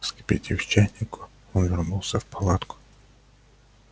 вскипятив чайник он вернулся в палатку